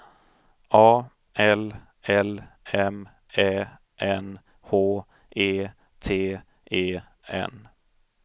A L L M Ä N H E T E N